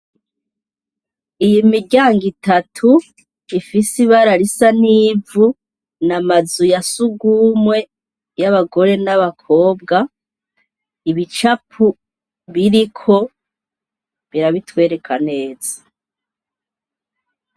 Iyimiryango itatu ifis'amabara risa n'ivu n'amazu ya sugumwe, y'abagore n'abakobwa ibicapo biriko birabitwereka neza.